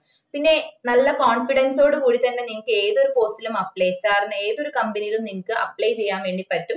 പിന്നെ നല്ല cofidence ഓട് കൂടി തന്നേ നിങ്ങക്ക് ഏത് ഒരു post ലും apply ആക്ക കാരണം ഏത് ഒര് company ലും നിങ്ങക്ക് apply ചെയ്യാൻ വേണ്ടി പറ്റും